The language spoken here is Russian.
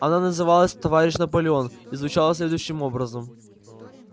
она называлась товарищ наполеон и звучала следующим образом